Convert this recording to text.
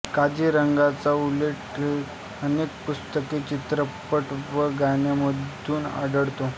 काझीरंगाचा उल्लेख अनेक पुस्तके चित्रपट व गाण्यांमधून आढळतो